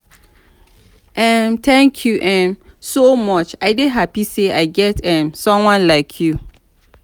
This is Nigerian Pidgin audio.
um thank you um so much i dey happy say i get um someone like you.